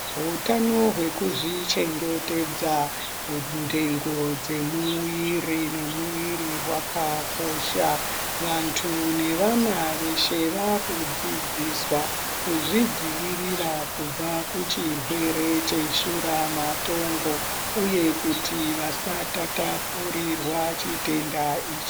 Hutano hwekuzvichengetedza ndengo dzemuwiri wakakosha, vantu nevana veshe vakudzidziswa kuzvidzivirira kubva kuchirwere cheshura matongo uye kuti vasatatapurirwa chitenda ichi.